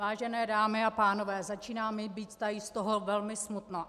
Vážené dámy a pánové, začíná mi být tady z toho velmi smutno.